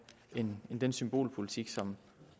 end med den symbolpolitik som